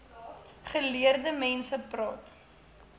geleerde mense praat